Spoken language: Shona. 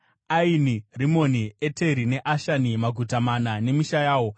Aini, Rimoni, Eteri neAshani, maguta mana nemisha yawo,